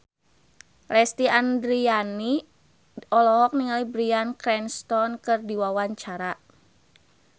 Lesti Andryani olohok ningali Bryan Cranston keur diwawancara